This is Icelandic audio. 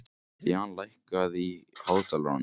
Jan, lækkaðu í hátalaranum.